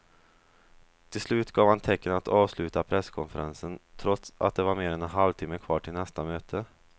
Till slut gav han tecken att avsluta presskonferensen trots att det var mer än en halvtimme kvar till nästa möte.